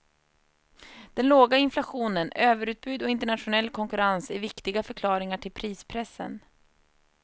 Den låga inflationen, överutbud och internationell konkurrens är viktiga förklaringar till prispressen.